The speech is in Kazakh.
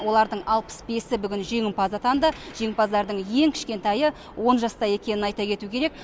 олардың алпыс бесі бүгін жеңімпаз атанды жеңімпаздардың ең кішкентайы он жаста екенін айта кету керек